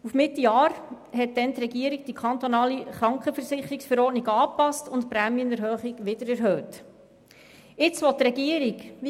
Auf Mitte Jahr passte in der Folge die Regierung die Kantonale Krankenversicherungsverordnung (KKVV) an und erhöhte die Prämienverbilligung wieder.